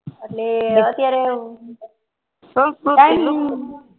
એટલે અત્યારે સંસ્કૃતિ લુપ્ત